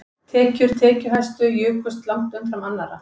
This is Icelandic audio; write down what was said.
Tekjur tekjuhæstu jukust langt umfram annarra